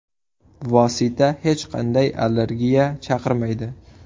Vosita hech qanday allergiya chaqirmaydi.